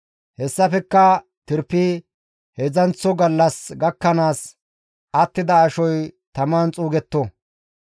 Hessafekka tirpidi heedzdzanththo gallas gakkanaas attida ashoy taman xuugetto;